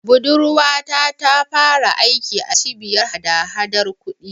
Budurwata ta fara aiki a Cibiyar hadahadar kuɗi.